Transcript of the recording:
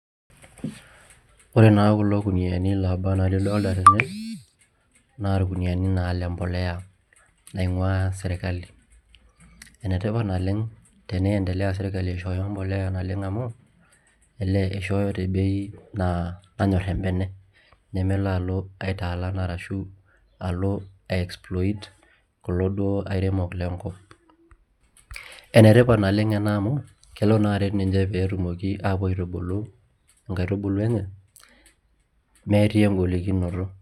Ore naa kulo kuniyiani loobaa enaa lidolita tene naa irkuniyiani naa le mbolea naing'uaa sirkali, enetipat naleng' teniendelea sirkali aishooyo embolea naleng' amu ele ishooyo te bei naa nanyorr embene neme enalo aitaalan arashu alo ai exploit kulo duo airemok lenkop. Enetipat naleng' ena amu kelo naa aret ninche pee etumoki aapuo aitubulu nkaitubulu enye metii engolikinoto.